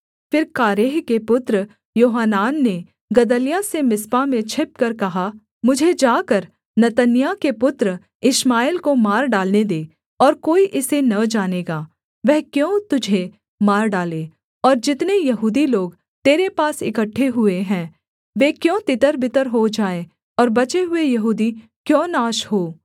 फिर कारेह के पुत्र योहानान ने गदल्याह से मिस्पा में छिपकर कहा मुझे जाकर नतन्याह के पुत्र इश्माएल को मार डालने दे और कोई इसे न जानेगा वह क्यों तुझे मार डाले और जितने यहूदी लोग तेरे पास इकट्ठे हुए हैं वे क्यों तितरबितर हो जाएँ और बचे हुए यहूदी क्यों नाश हों